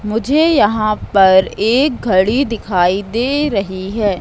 मुझे यहां पर एक घड़ी दिखाई दे रही हैं।